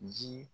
Ji